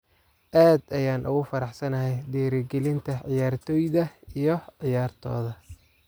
Aad ayaan ugu faraxsanahay dhiirrigelinta ciyaartoyda iyo ciyaartooda.